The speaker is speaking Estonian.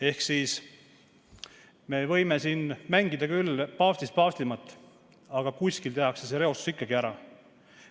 Ehk me võime siin mängida küll paavstist paavstimat, aga kuskil see reostus ikkagi tekitatakse.